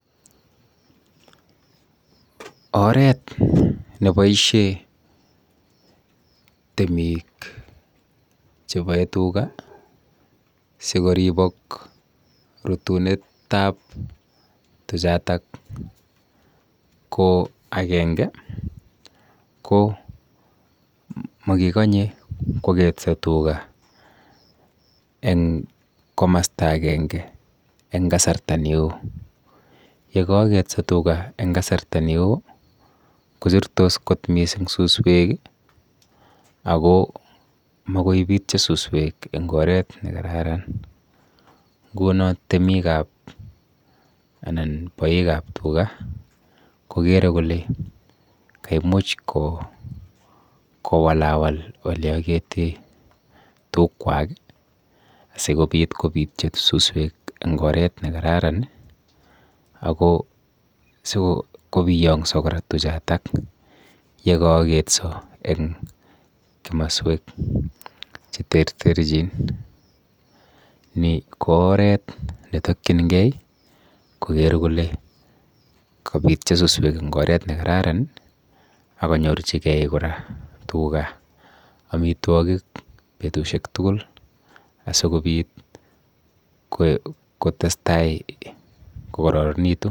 Oret neboishe temik cheboe tuga sikoribok rutunetap tuchotok ko akenge ko makikonye kwoketso tuga eng komasta akenge eng kasarta neo. Yekaaketso tuga eng kasarta neo kochurtos kot mising suswek ako makoi pityo suswek eng oret nekararan nguno temikap anan boikap tuga kokere kole kaimuch kowalawal oleakete tukwak asikobit kopityo suswek eng oret nekararan ako sikobiyong'so kora tuchatak yekaaketso eng komaswek cheterterchin. Ni ko oret netokchingei koker kole kapityo suswek eng oret nekararan akonyorchigei kora tuga amitwokik betushek tugul asikobit kotestai kokororonitu.